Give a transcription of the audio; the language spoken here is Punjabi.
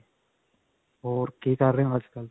ਹੋਰ, ਕੀ ਕਰ ਰਹੇ ਹੋ ਅੱਜ ਕਲ੍ਹ?